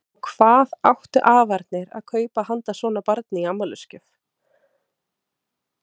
Og hvað áttu afarnir að kaupa handa svona barni í afmælisgjöf?